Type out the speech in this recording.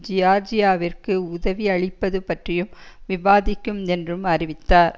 ஜியார்ஜியாவிற்கு உதவியளிப்பது பற்றியும் விவாதிக்கும் என்றும் அறிவித்தார்